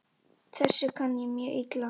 Þessu kann ég mjög illa.